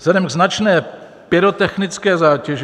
Vzhledem k značné pyrotechnické zátěži...